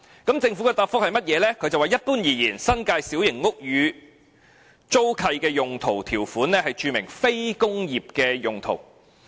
當局表示，一般而言，新界小型屋宇租契的用途條款註明"非工業"用途。